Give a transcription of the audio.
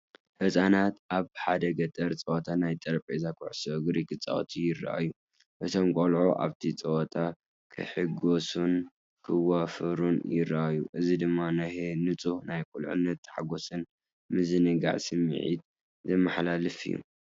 ህጻናት ኣብ ሓደ ገጠር ጸወታ ናይ ጠረጴዛ ኩዕሶ እግሪ ክጻወቱ ይረኣዩ። እቶም ቆልዑ ኣብቲ ጸወታ ክሕጎሱን ክዋፈሩን ይረኣዩ፣ እዚ ድማ ናይ ንጹህ ናይ ቁልዕነት ሓጎስን ምዝንጋዕን ስምዒት ዘመሓላልፍ እዩ።